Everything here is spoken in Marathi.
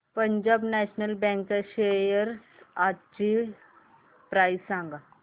पंजाब नॅशनल बँक च्या शेअर्स आजची प्राइस सांगा